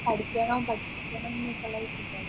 പഠിക്കണം പഠിപ്പിക്കണം എന്നുള്ളൊരു ചിന്താഗതിയാണ്